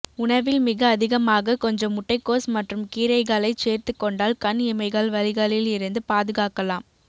உணவில் மிக அதிகமாக கொஞ்சம் முட்டைகோஸ் மற்றும் கீரைகளைச் சேர்த்துக் கொண்டால் கண் இமைகள் வலிகளில் இருந்து பாதுகாக்கலாம்